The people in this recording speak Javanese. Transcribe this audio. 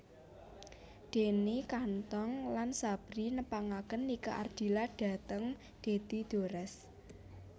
Deni Kantong lan Sabrie nepangaken Nike Ardilla dhateng Dedy Dores